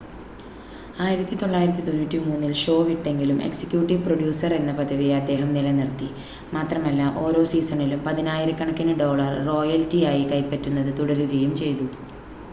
1993-ൽ show വിട്ടെങ്കിലും executive producer എന്ന പദവി അദ്ദേഹം നിലനിർത്തി മാത്രമല്ല ഓരോ സീസണിലും പതിനായിരക്കണക്കിന് ഡോളർ റോയൽറ്റിയായി കൈപ്പറ്റുന്നത് തുടരുകയും ചെയ്തു